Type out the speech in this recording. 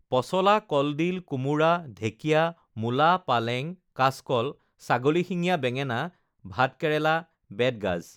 পচলা কলডিল কোমোৰা ঢেকীয়া মূলা পালেং কাচকল ছাগলীশিঙিয়া বেঙেনা ভাত কেৰেলা বেতগাজ